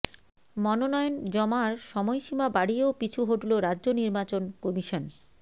মনোনয়ন জমার সময়সীমা বাড়িয়েও পিছু হঠল রাজ্য নির্বাচন কমিশন